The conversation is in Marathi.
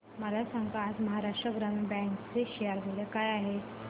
मला सांगा आज महाराष्ट्र ग्रामीण बँक चे शेअर मूल्य काय आहे